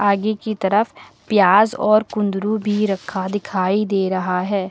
आगे कि तरफ प्याज और कुंदरु भी रखा दिखाई दे रहा है।